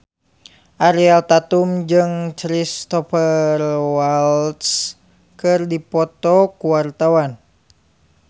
Ariel Tatum jeung Cristhoper Waltz keur dipoto ku wartawan